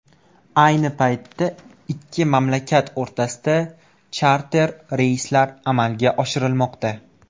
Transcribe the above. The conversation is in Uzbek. Ayni paytda ikki mamlakat o‘rtasida charter reyslar amalga oshirilmoqda.